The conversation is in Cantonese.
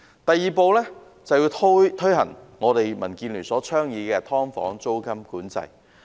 第二步，是推行民建聯倡議的"劏房"租金管制。